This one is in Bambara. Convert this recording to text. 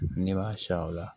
Ne b'a siyan o la